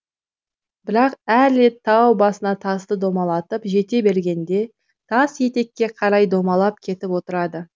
бірақ әр рет тау басына тасты домалатып жете бергенде тас етекке қарай домалап кетіп отырады